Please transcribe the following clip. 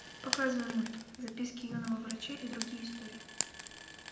показывай мульт записки юного врача и другие истории